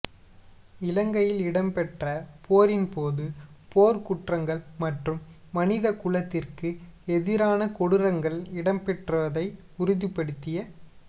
இலங்கையில் இடம்பெற்ற போரின் போது போர் குற்றங்கள் மற்றும் மனித குலத்திற்கு எதிரான கொடூரங்கள் இடம்பெற்றதை உறுதிப்படுத்திய